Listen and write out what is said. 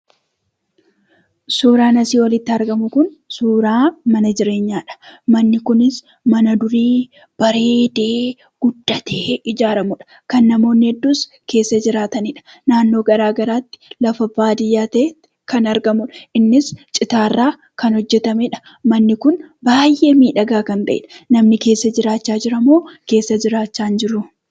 Suuraan asii olitti argamu kun, suuraa mana jireenyadha. Manni kunis, Mana durii bareedee guddatee ijaaramudha. namoonni heddus keessa jiraatanidha. naannoo garaagaraatti ,lafa baadiyyatti kan argamudha. innis citaarraa kan hojjetamedha. Manni kun baay'ee miidhaga kan ta'edha.